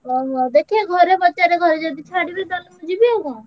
ଓହୋ! ଦେଖିଆ ମୁଁ ଘରେ ପଛରେ ଘରେ ଯଦି ଛାଡ଼ିବେ ମୁଁ ଯିବି ଆଉ କଣ?